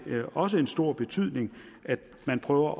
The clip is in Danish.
også en stor betydning at man prøver